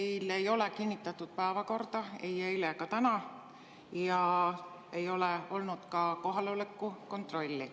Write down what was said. Meil ei olnud kinnitatud päevakorda ei eile ega ole täna ja ei ole olnud ka kohaloleku kontrolli.